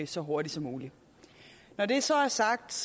så hurtigt som muligt når det så er sagt